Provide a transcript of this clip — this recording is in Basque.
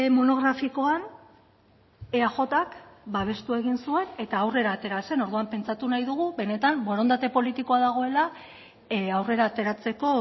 monografikoan eajk babestu egin zuen eta aurrera atera zen orduan pentsatu nahi dugu benetan borondate politikoa dagoela aurrera ateratzeko